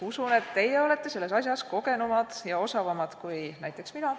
Usun, et teie olete selles asjas kogenumad ja osavamad kui näiteks mina.